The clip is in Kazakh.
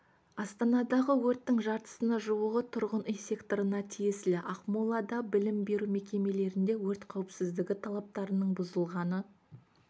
астанадағы өрттің жартысына жуығы тұрғын үй секторына тиесілі ақмолада білім беру мекемелерінде өрт қауіпсіздігі талаптарының бұзылғаны